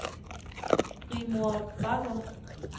Rigmor Bagger